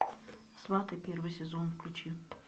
сваты первый сезон включи